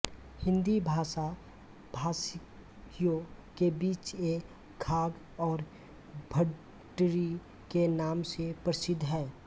हिंदी भाषा भाषियों के बीच ये घाघ और भड्डरी के नाम से प्रसिद्ध है